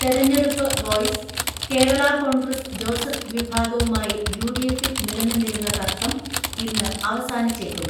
തെരഞ്ഞെടുപ്പ് വോയിസ് കേരളാ കോൺഗ്രസ് ജോസഫ് വിഭാഗവുമായി യുഡിഎഫിൽ നിലനിന്നിരുന്ന തർക്കം ഇന്ന് അവസാനിച്ചേക്കും.